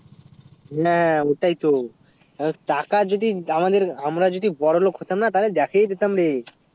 না ওটাই তো টাকা যদি আমাদের আমরা যদি বোরো লোগ হতাম না তালে দেখিয়ে দিতাম রে